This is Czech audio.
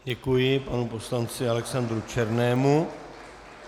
Děkuji panu poslanci Alexandru Černému.